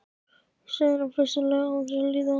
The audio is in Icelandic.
segir hann höstuglega án þess að líta á hana.